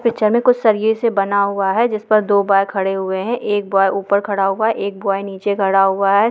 Picture में कुछ सरिये से बना हुआ है जिस पर दो बॉय खड़े हुए हैं एक बॉय ऊपर खड़ा हुआ है एक बॉय नीचे खड़ा हुआ है।